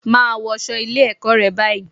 Máa wọṣọ́ Ilé-ẹ̀kọ́ rẹ báyìí